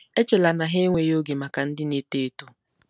Echela na ha enweghị oge maka ndị na-eto eto.